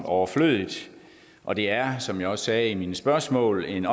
overflødigt og det er som jeg også sagde i mine spørgsmål en